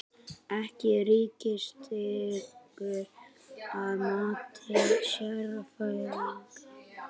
Ekki ríkisstyrkur að mati sérfræðinga